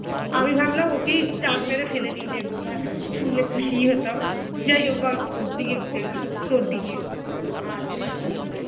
আর কি করা যাবে